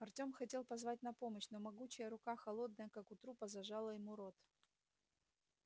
артём хотел позвать на помощь но могучая рука холодная как у трупа зажала ему рот